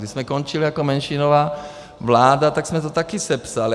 Když jsme končili jako menšinová vláda, tak jsme to taky sepsali.